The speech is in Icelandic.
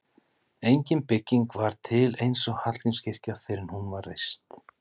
Engin bygging var til eins og Hallgrímskirkja fyrr en hún var reist.